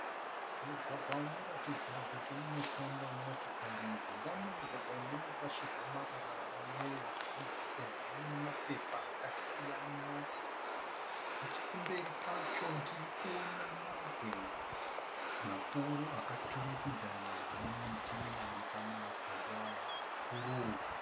Mugwagwa unoratidza kuti unofamba motokari. Mujinga memugwagwa umu munorasirwa marara neveruzhinji sezvo mune mapepa akasiyana. Nechekumberi kwacho tirikuona mabwe makuru akaturikidzana nemiti iri pamatombo aya mikuru.